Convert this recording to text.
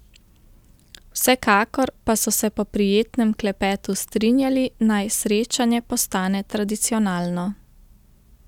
Vsekakor pa so se po prijetnem klepetu strinjali, naj srečanje postane tradicionalno.